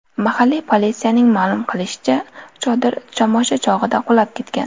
Mahalliy politsiyaning ma’lum qilishicha, chodir tomosha chog‘ida qulab ketgan.